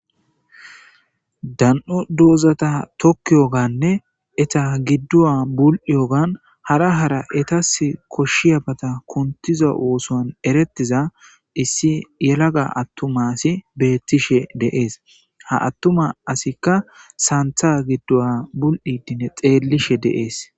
dan7u doozata tokki yoganne eta giddu7a bul7iyogan hara hara etas koshshiyabata kuntiza ooson erettiza issi yelaga attuma asi beettishe de7ees ha attuma asikka saantha giddu7a bul7idine xeellishe de7ees.